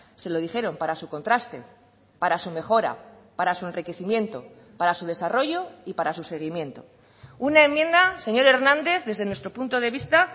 se lo dijeron para su contraste para su mejora para su enriquecimiento para su desarrollo y para su seguimiento una enmienda señor hernández desde nuestro punto de vista